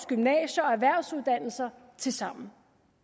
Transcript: gymnasier og erhvervsuddannelser tilsammen